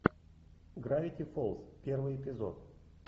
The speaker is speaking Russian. гравити фолз первый эпизод